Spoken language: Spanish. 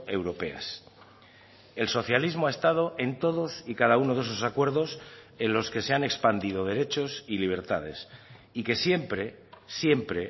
europeas el socialismo ha estado en todos y cada uno de esos acuerdos en los que se han expandido derechos y libertades y que siempre siempre